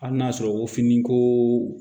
Hali n'a sɔrɔ o fini ko